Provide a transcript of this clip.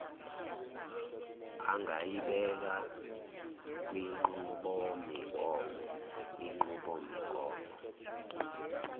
angayibeka kwinqubomigomo inqubomigomo